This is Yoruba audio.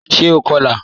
Ṣé ó kọ́lá?